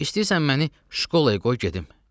İstəyirsən məni şkolaya qoy gedim.